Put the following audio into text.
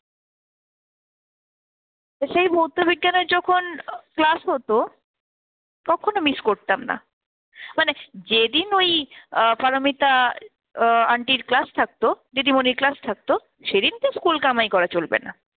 তো সেই ভৌত বিজ্ঞানের আহ যখন class হত কখনো miss করতাম না। মানে যেদিন ওই আহ পারমিতা আহ আন্টির class থাকতো, দিদিমণের class থাকতো সেদিনকে school কামাই করা চলবে না।